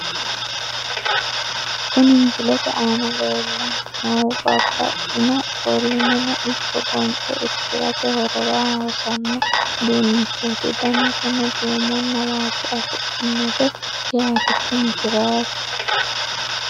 Kuni misilete aana lellanni noohu babbaxino ofo'lineno ikko gonxe irkirate horora hossanno uduunnichooti. danaseno duumonna waajjo afidhinote yaate tini tiraase.